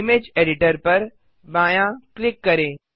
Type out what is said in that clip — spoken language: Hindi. इमेज एडिटर पर बायाँ क्लिक करें